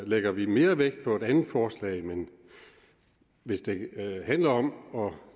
lægger vi mere vægt på et andet forslag men hvis det handler om at